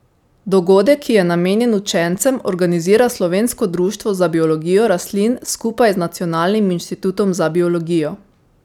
Dogodek, ki je namenjen učencem, organizira Slovensko društvo za biologijo rastlin skupaj z Nacionalnim inštitutom za biologijo.